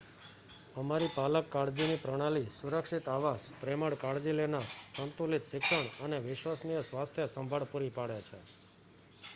અમારી પાલક કાળજીની પ્રણાલી સુરક્ષિત આવાસ પ્રેમાળ કાળજી લેનાર સંતુલિત શિક્ષણ અને વિશ્વસનીય સ્વાસ્થ્ય સંભાળ પૂરી પાડે છે